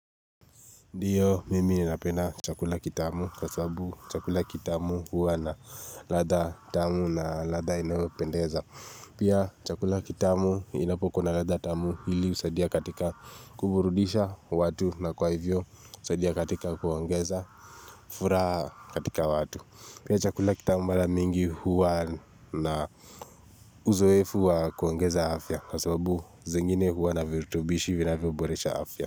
Ndiyo mimi napenda chakula kitamu kwa sababu chakula kitamu huwa na ladha tamu na ladha inayopendeza. Pia chakula kitamu inapokuwa na ladha tamu hili husadia katika kuburudisha watu na kwa hivyo husadia katika kuongeza furaha katika watu. Pia chakula kitamu mara mingi huwa na uzoefu wa kuongeza afya kwa sababu zingine huwa na virutubishi vinavo boresha afya.